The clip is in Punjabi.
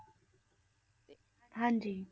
ਹਾਂਜੀ